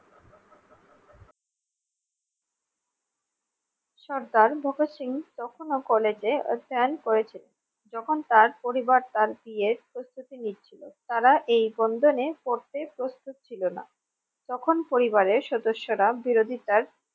সর্দার ভগৎ সিং তখন ও কলেজে অধ্যায়ন করেছেন যখন তার পরিবার তার বিয়ের প্রস্তুতি নিচ্ছিলো তারা এই বন্ধনে পড়তে প্রস্তুত ছিল না তখন পরিবারের সদস্য রা বিরোধিতার